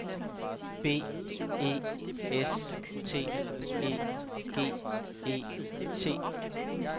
B E S T E G E T